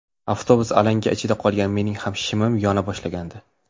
Avtobus alanga ichida qolgan, mening ham shimim yona boshlagandi.